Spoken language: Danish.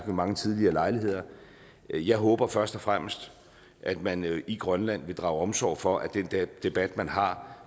mange tidligere lejligheder jeg håber først og fremmest at man i grønland vil drage omsorg for at den debat man har